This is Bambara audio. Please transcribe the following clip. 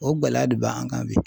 O gɛlɛya de ba an kan bi.